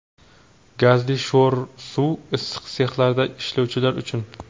gazli sho‘r suv (issiq sexlarda ishlovchilar uchun);.